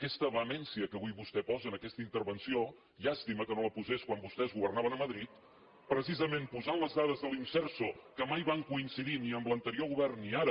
aquesta vehemència que avui vostè posa en aquesta intervenció llàstima que no la posés quan vostès governaven a madrid precisa·ment posant les dades de l’imserso que mai van coin·cidir ni en l’anterior govern ni ara